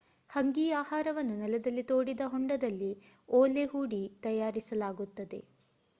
ಹಂಗೀ ಆಹಾರವನ್ನು ನೆಲದಲ್ಲಿ ತೋಡಿದ ಹೊಂಡದಲ್ಲಿ ಓಲೆ ಹೂಡಿ ತಯಾರಿಸಲಾಗುತ್ತದೆ